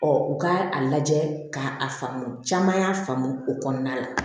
u ka a lajɛ k'a a faamu caman y'a faamu o kɔnɔna la